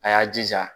A y'a jija